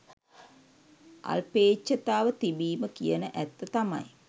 අල්පේච්ඡතාව තිබීම කියන ඇත්ත තමයි